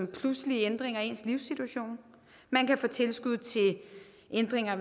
pludselige ændringer i ens livssituation man kan få tilskud til ændringer